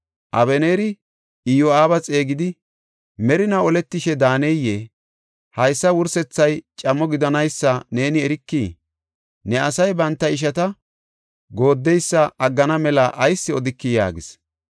Abeneeri Iyo7aaba xeegidi, “Merinaw oletishe daaneyee? Haysa wursethay camo gidanaysa neeni erikii? Ne asay, banta ishata gooddeysa aggana mela ayis odikii?” yaagis.